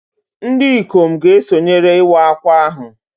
Ndị ikom ga-esonyere Iwa Akwa ahụ